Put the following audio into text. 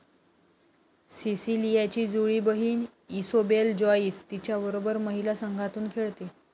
सिसिलियाची जुळी बहीण Isobel Joyce तिच्याबरोबर महिला संघातून खेळते